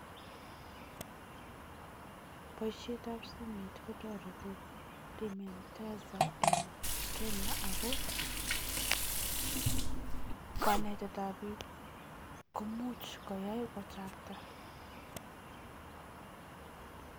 Boisietab simoi kotoreti remittance eng Kenya ako kanetetab biik komuch koyai kochakta.